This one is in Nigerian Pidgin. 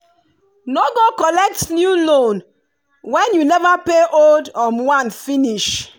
no go collect new loan when you never pay old one finish